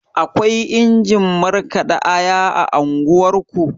Akwai injin markaɗa aya a unguwarku?